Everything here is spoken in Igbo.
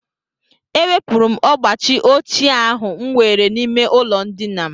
Ewepụrụ m ọgbachi ochie ahụ m nwere n'ime ụlọndina m